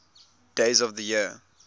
days of the year